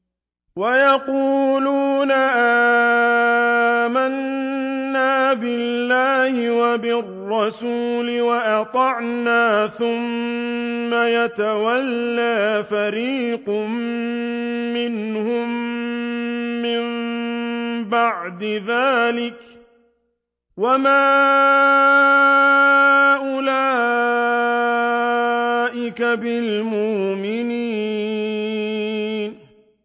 وَيَقُولُونَ آمَنَّا بِاللَّهِ وَبِالرَّسُولِ وَأَطَعْنَا ثُمَّ يَتَوَلَّىٰ فَرِيقٌ مِّنْهُم مِّن بَعْدِ ذَٰلِكَ ۚ وَمَا أُولَٰئِكَ بِالْمُؤْمِنِينَ